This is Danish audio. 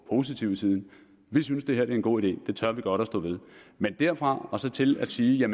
positive side vi synes det her er en god idé det tør vi godt at stå ved men derfra og så til at sige